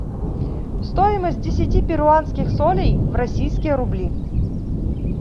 стоимость десяти перуанских солей в российские рубли